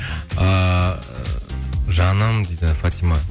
ыыы жаным дейді фатима